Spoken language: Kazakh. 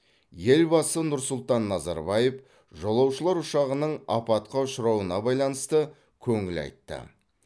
елбасы нұрсұлтан назарбаев жолаушылар ұшағының апатқа ұшырауына байланысты көңіл айтты